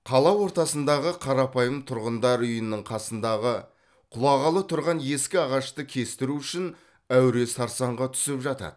қала ортасындағы қарапайым тұрғындар үйінің қасындағы құлағалы тұрған ескі ағашты кестіру үшін әуре сарсаңға түсіп жатады